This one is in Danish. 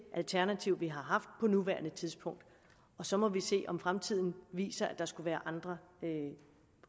alternativ vi har har på nuværende tidspunkt så må vi se om fremtiden viser at der skulle være andre